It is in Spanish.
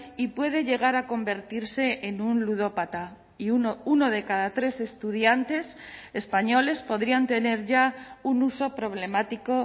y puede llegar a convertirse en un ludópata y uno de cada tres estudiantes españoles podrían tener ya un uso problemático